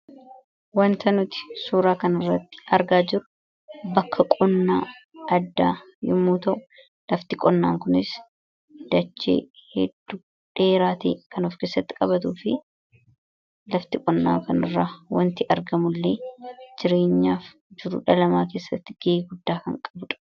Wanta nuti suuraa kana irratti argaa jiru bakka qonnaa addaa yommuu ta'u lafti qonnaa kunis dachee hedduu dheeratee kan of keessatti qabatu fi lafti qonnaa kanarra wanti argamullee jireenyaaf jiruu dhala namaa keessatti ge'ee guddaa kan qabuudha.